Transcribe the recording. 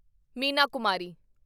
Meena Kumari